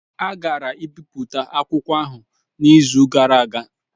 A gara-ibipụta akwụkwọ ahụ n'izu gara aga.